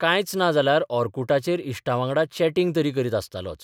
कांयच ना जाल्यार ओर्कुटाचेर इश्टांबांगडा चेंटिंग तरी करीत आसतालोच.